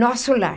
Nosso lar.